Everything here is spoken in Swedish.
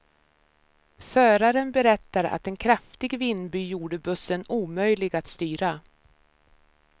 Föraren berättar att en kraftig vindby gjorde bussen omöjlig att styra.